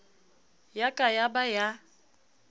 ya ka ya ba ya